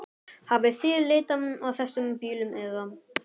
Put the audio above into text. Hafið þið leitað að þessum bílum eða?